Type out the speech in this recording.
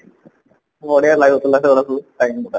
ବଢିଆ ଲଗୁଥିଲା ସେଗୁଡା ସବୁ ଗୁଡା